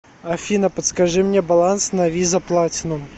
афина подскажи мне баланс на виза платинум